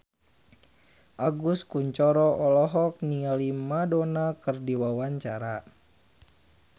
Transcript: Agus Kuncoro olohok ningali Madonna keur diwawancara